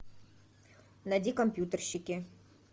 найди компьютерщики